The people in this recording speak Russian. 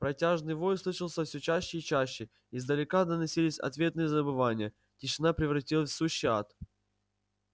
протяжный вой слышался всё чаще и чаще издалека доносились ответные завывания тишина превратилась в сущий ад